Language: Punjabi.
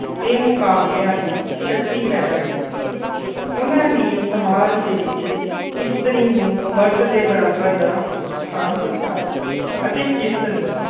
ਤੇ ਮੁਕਾਬਲਿਆਂ ਦੀ ਸ਼ਕਤੀ ਪੈਦਾ ਕੀਤੀ ਉਹਨਾਂ ਨੇ ਸਮਾਜ ਦੇ ਵਿੱਚ ਇਸਤਰੀ ਨੂੰ ਮਰਦ ਦੇ ਬਰਾਬਰ ਦਾ ਸਥਾਨ ਦਿੱਤਾ ਅਤੇ ਕਿਰਤ ਨੂੰ